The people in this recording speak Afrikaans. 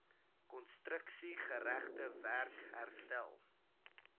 konstruksiegerigte werk herstel